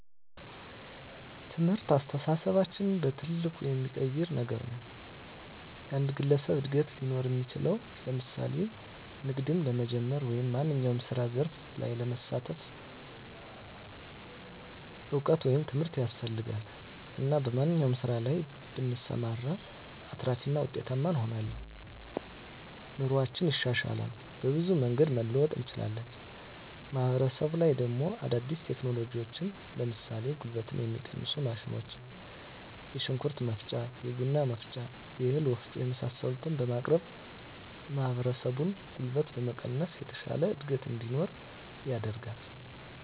ትምህርት አስተሳሰባችንን በትልቁ የሚቀይር ነገር ነዉ። የአንድ ግለሰብ እድገት ሊኖር እሚችለዉ ለምሳሌ ንግድም ለመጀመር ወይም ማንኛዉም የስራ ዘርፍ ላይ ለመሳተፍ እዉቀት ወይም ትምህርት ያስፈልጋል እና በማንኛዉም ስራ ላይ ብንሰማራ አትራፊ እና ዉጤታማ እንሆናለን። ኑሮአችን ይሻሻላል፣ በብዙ መንገድ መለወጥ እንችላለን። ማህበረሰቡ ላይ ደሞ አዳዲስ ቴክኖሎጂዎችን ለምሳሌ ጉልበትን የሚቀንሱ ማሽኖች የሽንኩርት መፍጫ፣ የቡና መፍጫ፣ የእህል ወፍጮ የመሳሰሉትን በማቅረብ ማህበረሰቡን ጉልበት በመቀነስ የተሻለ እድገት እንዲኖር ያደርጋል።